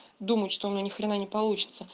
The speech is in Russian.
думать что у меня ни хрена не получится